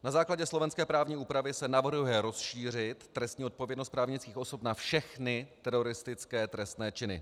Na základě slovenské právní úpravy se navrhuje rozšířit trestní odpovědnost právnických osob na všechny teroristické trestné činy.